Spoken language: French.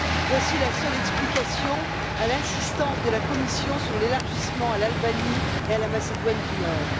Voici la seule explication à l'insistance de la Commission sur l'élargissement à l'Albanie et à la Macédoine du Nord.